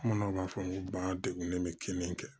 Bamananw b'a fɔ n ko bagan degunnen bɛ kini kɛ